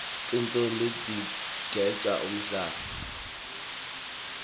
tintfombi tigeca umhlanga